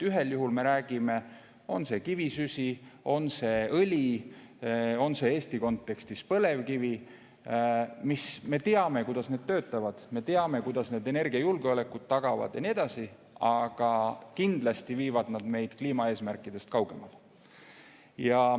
Ühel juhul me räägime, et on see kivisüsi, on see õli, on see Eesti kontekstis põlevkivi – me teame, kuidas need töötavad, me teame, kuidas need energiajulgeoleku tagavad ja nii edasi, aga kindlasti viivad nad meid kliimaeesmärkidest kaugemale.